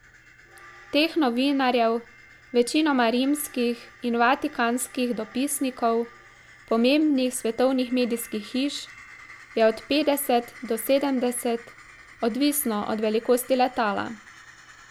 Teh novinarjev, večinoma rimskih in vatikanskih dopisnikov pomembnih svetovnih medijskih hiš, je od petdeset do sedemdeset, odvisno od velikosti letala.